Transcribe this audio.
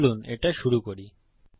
চলুন এটা শুরু করি